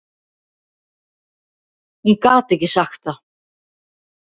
Hún gat ekki sagt það.